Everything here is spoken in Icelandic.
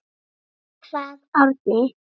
Þá kvað Árni: